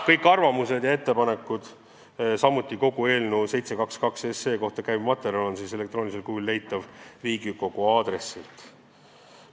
Kõik arvamused ja ettepanekud, samuti kogu muu eelnõu 722 kohta käiv materjal on elektroonilisel kujul leitav Riigikogu kodulehelt.